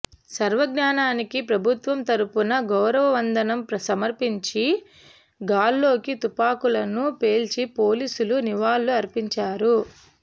స్వరజ్ఞానికి ప్రభుత్వం తరఫున గౌరవ వందనం సమర్పించి గాల్లోకి తుపాకులను పేల్చి పోలీసులు నివాళులు అర్పించారు